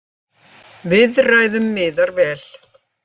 Viðræðum miðar vel